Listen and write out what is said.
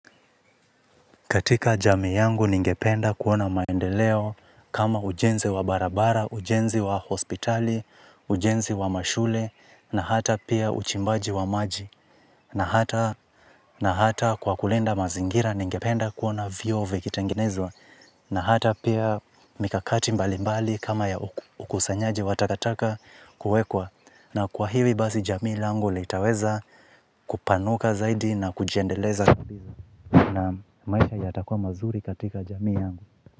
Katika jamii yangu ningependa kuona maendeleo kama ujenzi wa barabara, ujenzi wa hospitali, ujenzi wa mashule, na hata pia uchimbaji wa maji. Na hata kwa kulinda mazingira ningependa kuona vyoo vikitengenezwa. Na hata pia mikakati mbalimbali kama ya ukusanyaji wa takataka kuwekwa. Na kwa hivi basi jamii langu litaweza kupanuka zaidi na kujiendeleza. Maisha yatakuwa mazuri katika jamii yangu.